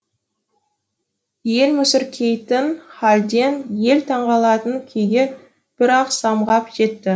ел мүсіркейтін халден ел таңғалатын күйге бір ақ самғап жетті